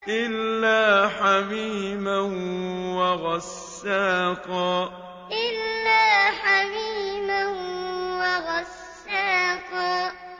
إِلَّا حَمِيمًا وَغَسَّاقًا إِلَّا حَمِيمًا وَغَسَّاقًا